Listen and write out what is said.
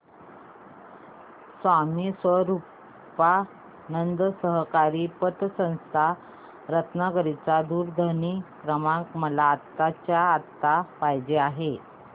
स्वामी स्वरूपानंद सहकारी पतसंस्था रत्नागिरी चा दूरध्वनी क्रमांक मला आत्ताच्या आता पाहिजे आहे